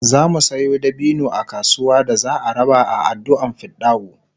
zamu Sayo dabino a kasuwa da za'a raba a adduan fidda'u